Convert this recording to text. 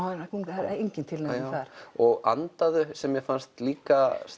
það er engin tilnefning þar og andaðu sem mér fannst líka